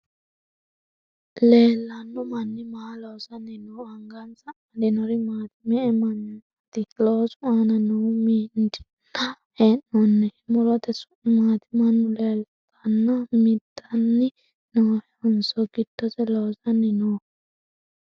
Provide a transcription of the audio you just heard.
Leellanno manni maa loosanni no? Angansa amadinori maati? Me'e mannaati loosu aana noohu? Mindanni hee'noonnihu murote su'mi maati? Mannu laalteenna midanni noohonso giddose loosanni nooho?